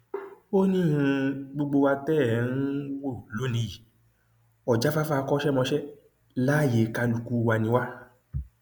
ó ní um gbogbo wa tẹ ẹ um ń wò lónìí yìí ọjáfáfá akọṣẹmọṣẹ láàyè kálukú wa ni wá